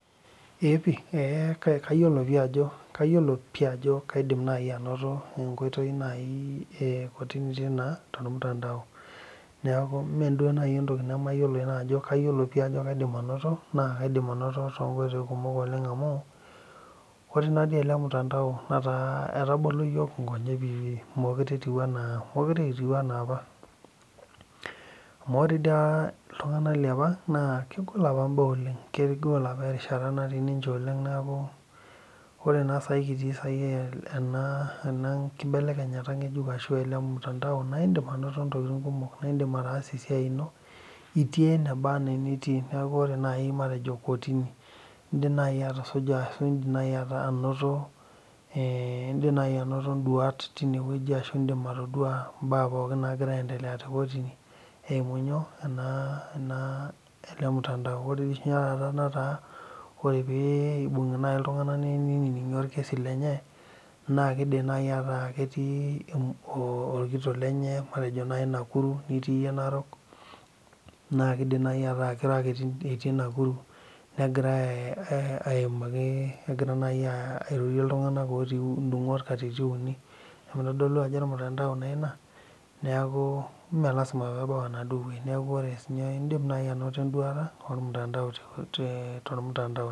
Eeeh pih kayiolo pi ajo kaidim naaji anoto enkoitoi nalotie naa tormutandai neeku meeduo entoki nemayiolo kayiolo pih ajo kaidim anoto naa katum toonkoitoi kumok amu ore naadii ele mutandao netaa etabolo iyiook inkonyek meekure kitiu enaa apa amu ore dii apa iltung'anak liapa naa kegol apa imbaa oleng kegol apa erishata natii ninche oleng neeku ore naa saai kitii ena keibelekenyata ng'ejuk ashua ele mutandao naa indiim anoto intokitin kumok naa indiim ataasa esiai ino itii enebanaa enitii neeku ore naaji matejo kotini indiim naaji atusuja ashua indiim naaji anoto induat tine wueji ashu indiim atodua imbaa pookin naagira aaendelea tekotini eimu ele mutandao ore oshi etaa ore pii eimbung'i iltung'anak neinining'i orkesi lenye naa keidimi naaji aataa ketii orkitok lenye matejo naaji nakuru nitii iyie narok naa keidim naaji ataa keiro ake itii nakuru negirai aaimaki negira naaji airorie iltung'anak ootii indungot katitin uni neeku keitodolu ajo ormutandao naa ele neeku mee lasima peebau enaduo neeku ore sii ninye indiim naaji anodo enduata ormutandao te ormutandao